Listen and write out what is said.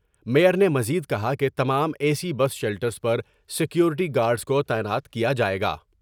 Mayor نے مزید کہا کہ تمام اے سی بس شیلٹرس پر سکیورٹی گارڈس کو تعینات کیا جائے گا ۔